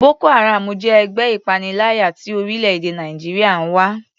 Boko haram jẹ́ ẹgbẹ́ ìpaniláyà tí orílẹ̀-èdè Nàìjíríà ń wá.